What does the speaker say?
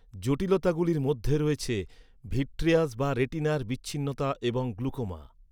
জটিলতাগুলির মধ্যে রয়েছে ভিট্রিয়াস বা রেটিনার বিচ্ছিন্নতা এবং গ্লুকোমা।